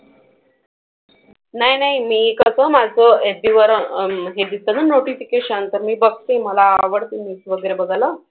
नाही नाही मी कसं माझं FB वर हे दिसतं ना notification तर मी बघते मला आवडतं news वगैरे बघायला.